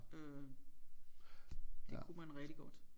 Øh det kunne man rigtig godt